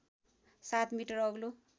७ metre अग्लो